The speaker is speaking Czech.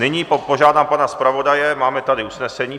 Nyní požádám pana zpravodaje, máme tady usnesení.